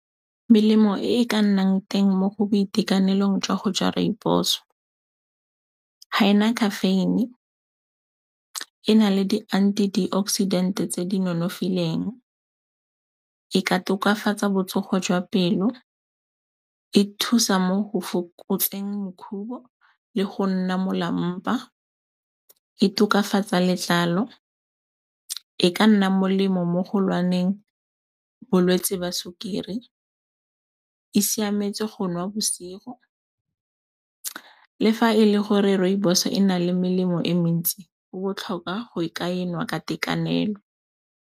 Melemo e e ka nnang teng mo go boitekanelong jwa go ja rooibos-o ga e na caffeine-e, e na le di-antioxidant-e tse di nonofileng, e ka tokafatsa botsogo jwa pelo, e thusa mo go fokotseng makhubo le go nna molampa, e tokafatsa letlalo, e ka nna molemo mo go lekaneng bolwetse jwa sukiri, e siametse go nwa bosigo. Le fa e le gore rooibos-o e na le melemo e mentsi go botlhokwa go ka e nwa ka tekanelo.